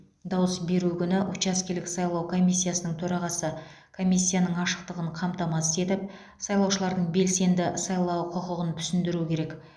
дауыс беру күні учаскелік сайлау комиссиясының төрағасы комиссияның ашықтығын қамтамасыз етіп сайлаушылардың белсенді сайлау құқығын түсіндіруі керек